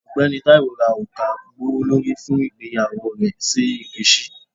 Ọgbẹni Taiwo ra oruka gbowolori fun igbeyawo rẹ si nkechi.